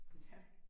Ja